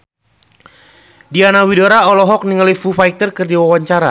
Diana Widoera olohok ningali Foo Fighter keur diwawancara